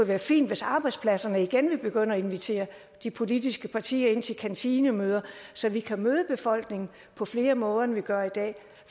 være fint hvis arbejdspladserne igen ville begynde at invitere de politiske partier ind til kantinemøder så vi kan møde befolkningen på flere måder end vi gør i dag